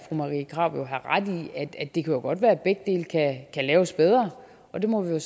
fru marie krarup have ret i at at det godt kan være at begge dele kan laves bedre og det må vi